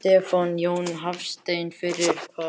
Stefán Jón Hafstein: Fyrir hvað?